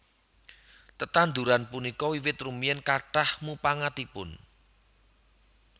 Tetanduran punika wiwit rumiyin kathah mupangatipun